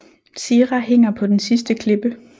Zira hænger på den sidste klippe